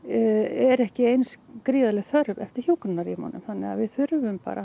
er ekki eins gríðarleg þörf eftir hjúkrunarrýmunum þannig við þurfum bara